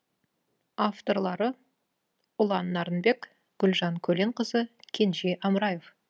авторлары ұлан нарынбек гүлжан көленқызы кенже амраев